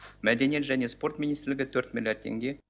мәдениет және спорт министрлігі төрт миллиард теңге